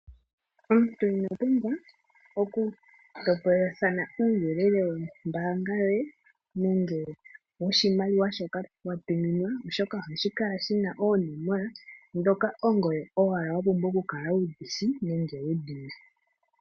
Omuntu owa ino pumbwa oku topolelathana uuyelele wo mbaanga yoye nenge woshimaliwa shoka wa tuminwa oshoka ohashi kala shina oonomola dhoka ongoye owala wa pumbwa oku kala wu dhishi nenge wu dhina.